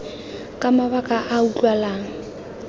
ka mabaka a a utlwalang